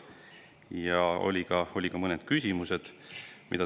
Ja olid ka mõned küsimused.